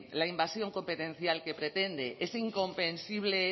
la invasión competencial que pretende ese incomprensible